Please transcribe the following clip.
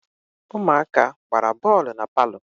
Ụmụaka gbara bọọlụ na palọ